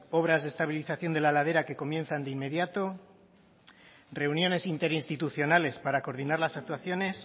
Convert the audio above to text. obras de estabilización de la ladera que comienzan de inmediato reuniones interinstitucionales para coordinar las actuaciones